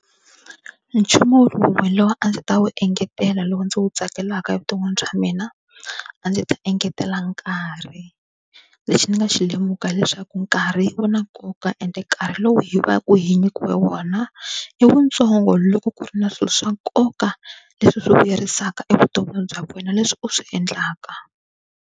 Nchumu wun'we lowu a ndzi ta wu engetela lowu ndzi wu tsakelaka evuton'wini bya mina a ndzi ta engetela nkarhi lexi ni nga xi lemuka hileswaku nkarhi wu na nkoka, ende nkarhi lowu hi va ku hi nyikiwe wona i wutsongo loko ku ri na swilo swa nkoka leswi swi vuyerisaka evuton'wini bya wena leswi u swi endlaka.